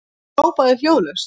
Hún hrópar hljóðlaust